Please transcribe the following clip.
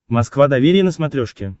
москва доверие на смотрешке